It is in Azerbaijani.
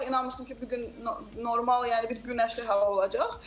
Heç vaxt inanmırsan ki, bu gün normal yəni bir günəşli hava olacaq.